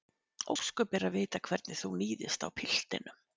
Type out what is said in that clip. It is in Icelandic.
Ósköp er að vita hvernig þú níðist á piltinum.